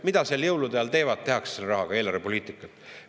Mida seal jõulude ajal tehakse selle rahaga, millist eelarvepoliitikat?